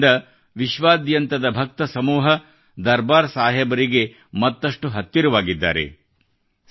ಈ ನಡೆಯಿಂದ ವಿಶ್ವಾದ್ಯಂತದ ಭಕ್ತಸಮೂಹ ದರ್ಬಾರ್ ಸಾಹೇಬರಿಗೆ ಮತ್ತಷ್ಟು ಹತ್ತಿರವಾಗಿದ್ದಾರೆ